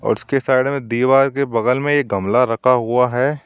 उसकी साइड में दीवार के बगल में एक गमला रखा हुआ है।